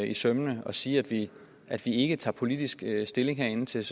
i sømmene og siger at vi ikke tager politisk stilling herinde til